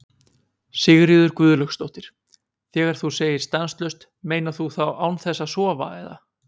Sigríður Guðlaugsdóttir: Þegar þú segir stanslaust, meinar þú þá án þess að sofa eða?